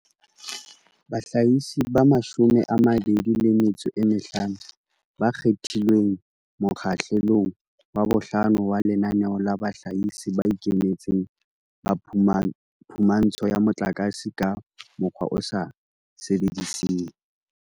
Bahlahisi ba 25 ba kgethilweng mokgahle long wa bohlano wa Lenaneo la Bahlahisi ba Ikemetseng ba Phumantsho ya Motlakase ka Mokgwa o sa Sebediseng